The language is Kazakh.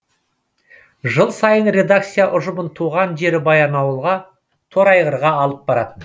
жыл сайын редакция ұжымын туған жері баянауылға торайғырға алып баратын